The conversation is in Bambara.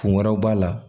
Kun wɛrɛw b'a la